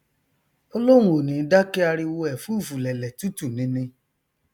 ó lóun ò ní dákẹ ariwo ẹfúùfùlẹlẹ tútù nini